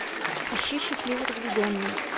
ищи счастливо разведенные